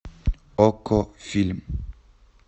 окко фильм